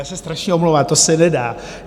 Já se strašně omlouvám, to se nedá.